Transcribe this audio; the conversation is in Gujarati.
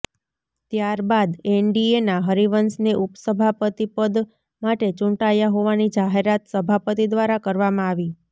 ત્યારબાદ એનડીએના હરિવંશને ઉપસભાપતિ પદ માટે ચૂંટાયા હોવાની જાહેરાત સભાપતિ દ્વારા કરવામાં આવી